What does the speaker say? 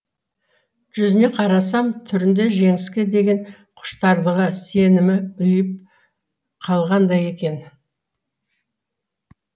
жүзіне қарасам түрінде жеңіске деген құштарлығы сенімі ұйып қалғандай екен